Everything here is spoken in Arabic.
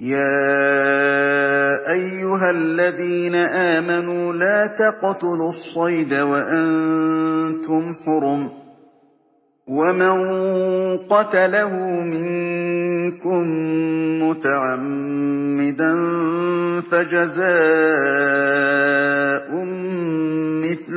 يَا أَيُّهَا الَّذِينَ آمَنُوا لَا تَقْتُلُوا الصَّيْدَ وَأَنتُمْ حُرُمٌ ۚ وَمَن قَتَلَهُ مِنكُم مُّتَعَمِّدًا فَجَزَاءٌ مِّثْلُ